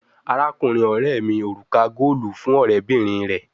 Arakunrin ọrẹ mi oruka goolu fun ọrẹbinrin rẹ